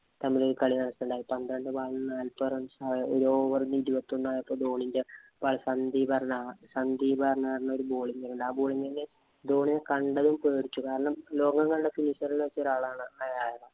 തമ്മില്‍ ഒരു നടക്കുകയുണ്ടായി. പന്ത്രണ്ട് ball ഇന് ഒരു over ഇല്‍ ഇരുപത്തിയൊന്നായപ്പോള്‍ ധോണിന്‍റെ സന്ദീപ് എന്ന് പറഞ്ഞ ധോണിയെ കണ്ടതും പേടിച്ചു. കാരണം ലോകം കണ്ട finisher ഇല്‍ വച്ച് ഒരാളാണ്